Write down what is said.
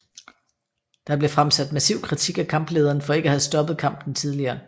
Der blev fremsat massiv kritik af kamplederen for ikke at have stoppet kampen tidligere